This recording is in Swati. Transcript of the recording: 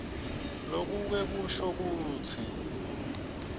lokuke kusho kutsi